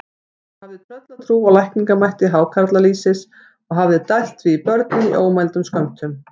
Hún hafði tröllatrú á lækningamætti hákarlalýsis og hafði dælt því í börnin í ómældum skömmtum.